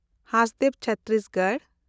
Hasdeo Chhattisgarh